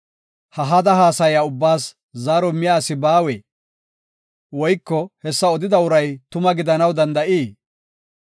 “Ha hada haasaya ubbaas zaaro immiya asi baawee? Woyko hessa odida uray tuma gidanaw danda7ii?